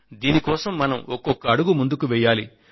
దీని కోసం మనం ఒక్కొక్క అడుగు ముందుకు వేయాలి